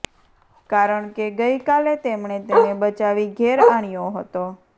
કારણકે ગઇ કાલે તેમણે તેને બચાવી ઘેર આણ્યો હતો